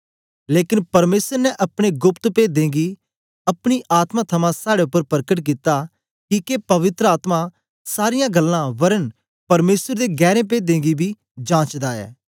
लेकन परमेसर ने अपने गोप्त पेदें गी अपने आत्मा थमां साड़े उपर परकट कित्ता किके पवित्र आत्मा सारीयां गल्लां वरन परमेसर दे गैरें पेदें गी बी जांचदा ऐ